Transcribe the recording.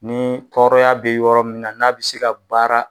Ni tɔrɔya be yɔrɔ min na n'a bi se ka baara